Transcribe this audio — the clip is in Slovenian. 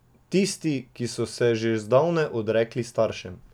Tisti, ki so se že zdavnaj odrekli staršem.